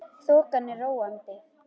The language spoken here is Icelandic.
Þokan er róandi